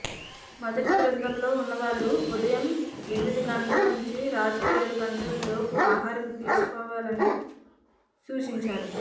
మొదటి బృందంలో ఉన్నవాళ్లు ఉదయం ఎనిమిదిగంటల నుంచి రాత్రి ఏడుగంటల లోపు ఆహారం తీసుకోవాలని సూచించారు